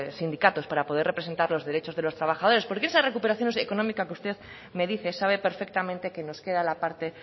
sindicatos para poder representar los derechos de los trabajadores porque esa recuperación económica que usted me dice sabe perfectamente que nos queda la parte